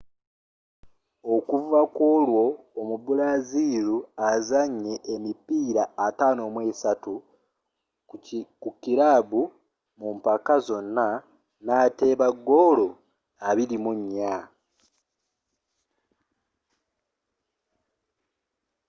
okuva kwolwo omubraziru azannye emipiira 53 mu kirabu mu mpaka zonna n'ateeba goolo 24